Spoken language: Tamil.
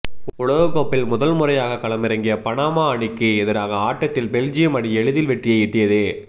உலகக்கோப்பையில் முதன்முறையாக களமிறங்கிய பனாமா அணிக்கு எதிரான ஆட்டத்தில் பெல்ஜியம் அணி எளிதில் வெற்றியை ஈட்டியது